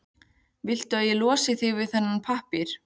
Viltu að ég losi þig við þennan pappír?